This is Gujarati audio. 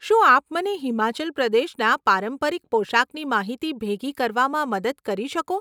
શું આપ મને હિમાચલ પ્રદેશના પારંપરિક પોશાકની માહિતી ભેગી કરવામ મદદ કરી શકો?